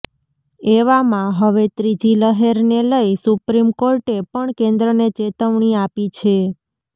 એવામાં હવે ત્રીજી લહેરને લઈ સુપ્રીમ કોર્ટે પણ કેન્દ્રને ચેતવણી આપી છે